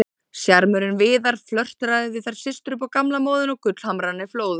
Sjarmörinn Viðar, flörtaði við þær systur upp á gamla móðinn og gullhamrarnir flóðu.